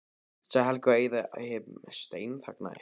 sagði Heiða og Abba hin steinþagnaði.